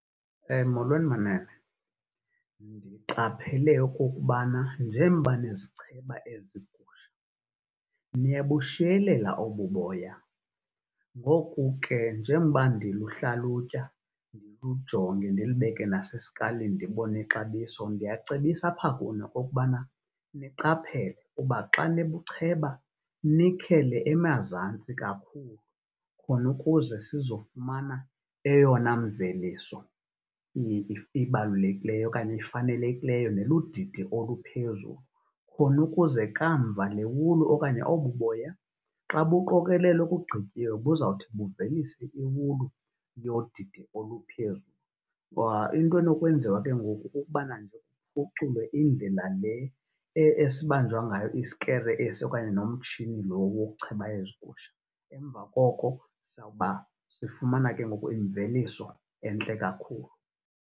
Molweni, manene. Ndiqaphele okokubana njengoba nizicheba ezigusha niyabushiyelela obu boya. Ngoku ke, njengoba ndiluhlalutya ndilujonge ndilubeke naseskalini ndibone ixabiso ndiyacebisa apha kuni okokubana niqaphele uba xa nibucheba nikhele emazantsi kakhulu. Khona ukuze sizofumana eyona mveliso ibalulekileyo okanye ifanelekileyo neludidi oluphezulu, khona ukuze kamva le wulu okanye obu boya xa buqokelelwa bugqityiwe buzawuthi buvelise iwulu yodidi oluphezulu. Ngoba into enokwenziwa ke ngoku kukubana nje kuphuculwe indlela le esibanjwa ngayo isikere okanye umtshini lo wokucheba ezi gusha. Emva koko, sawuba sifumana ke ngoku imveliso entle kakhulu.